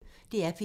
DR P1